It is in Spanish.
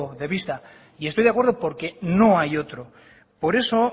de vista y estoy de acuerdo porque no hay otro por eso